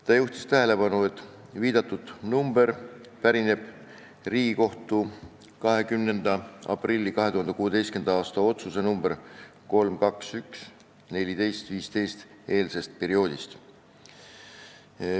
Ta juhtis tähelepanu, et viidatud arv pärineb Riigikohtu 20. aprilli 2016. aasta lahendi nr 3-2-1-142-15 eelsest perioodist.